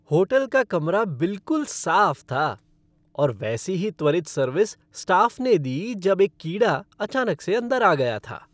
Hotel का कमरा बिलकुल साफ था, और वैसी ही त्वरित सर्विस स्टाफ़ ने दी जब एक कीड़ा अचानक से अंदर आ गया था।